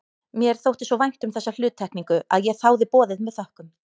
Mér þótti svo vænt um þessa hluttekningu að ég þáði boðið með þökkum.